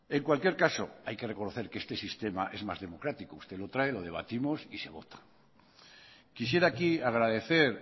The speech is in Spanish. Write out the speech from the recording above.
en cualquier caso hay que reconocer que este sistema es más democrático usted lo trae lo debatimos y se vota quisiera aquí agradecer